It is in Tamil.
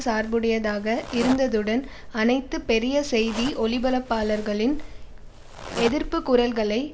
சார்புடையதாக இருந்ததுடன் அனைத்து பெரிய செய்தி ஒலிபரப்பாளர்களின் எதிர்ப்பு குரல்களை